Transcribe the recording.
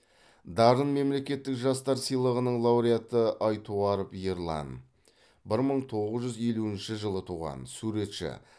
дарын мемлекеттік жастар сыйлығының лауреаты айтуаров ерлан бір мың тоғыз жүз елуінші жылы туған суретші